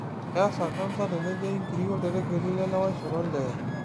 Keesa kansa tenejei nkiri oltregeli lelewaisho olee.